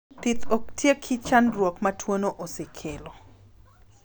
Thith ok tieki chandruok ma tuono osekelo.